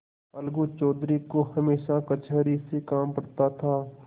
अलगू चौधरी को हमेशा कचहरी से काम पड़ता था